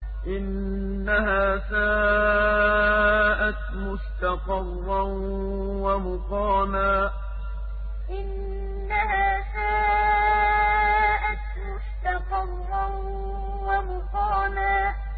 إِنَّهَا سَاءَتْ مُسْتَقَرًّا وَمُقَامًا إِنَّهَا سَاءَتْ مُسْتَقَرًّا وَمُقَامًا